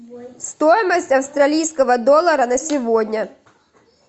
стоимость австралийского доллара на сегодня